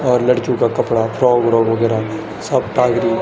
और लड़कियों का कपड़ा फ्रोक - व्रोक वगेरह सब टागरी --